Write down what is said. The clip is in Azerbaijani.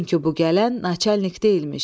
Çünki bu gələn naçalnik deyilmiş.